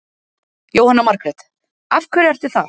Jóhanna Margrét: Af hverju ertu það?